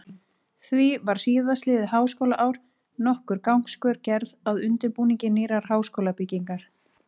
Því var síðastliðið háskólaár nokkur gangskör gerð að undirbúningi nýrrar háskólabyggingar.